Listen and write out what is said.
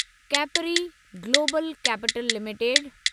capri global capital limited